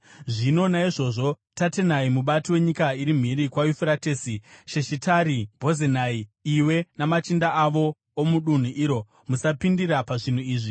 Zvino naizvozvo, Tatenai, mubati wenyika iri mhiri kwaYufuratesi, Sheshitari-Bhozenai, iwe namachinda avo omudunhu iro, musapindira pazvinhu izvi.